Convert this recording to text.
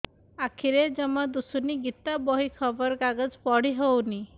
ଆଖିରେ ଜମା ଦୁଶୁନି ଗୀତା ବହି ଖବର କାଗଜ ପଢି ହଉନି